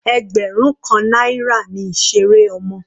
Ẹgbẹrun kan náírà ni ìseré ọmọ.